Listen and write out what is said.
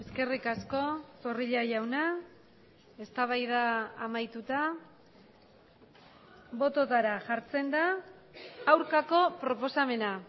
eskerrik asko zorrilla jauna eztabaida amaituta bototara jartzen da aurkako proposamena